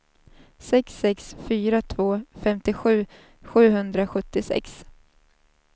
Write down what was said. sex sex fyra två femtiosju sjuhundrasjuttiosex